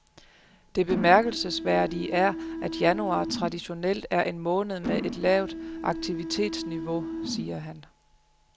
Det bemærkelsesværdige er, at januar traditionelt er en måned med et lavt aktivitetsniveau, siger han.